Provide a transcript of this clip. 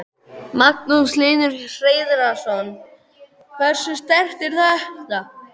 Magnús Hlynur Hreiðarsson: Hversu sterkt er þetta?